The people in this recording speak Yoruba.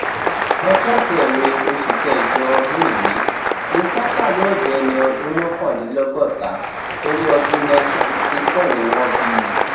ọjọ́ kẹrin oṣù kẹjọ ọdún yìí ni saka yóò dẹni ọdún mọ́kàndínlọ́gọ́ta torí ọdún nineteen sixty four ni wọ́n bí i